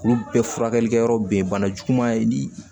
Olu bɛɛ furakɛli kɛyɔrɔ be ye bana juguman ye ni